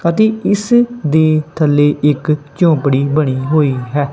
ਅਤੇ ਇਸ ਦੇ ਥੱਲੇ ਇੱਕ ਝੋਂਪੜੀ ਬਣੀ ਹੋਈ ਹੈ।